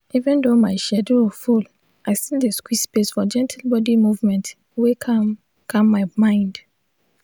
even though my schedule full i still dey squeeze space for gentle body movement wey calm calm my mind.